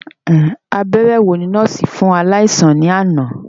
Abẹrẹ wo ni nọọsi fun alaisan ni ana?